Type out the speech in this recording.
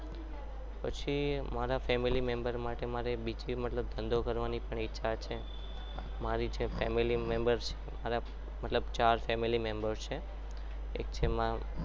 પછી મારે મારા family member માટે બીજો ધંધો કરવાનું પણ ઈચ્છા છે મારી family member માં ચાર મેમ્બર છે.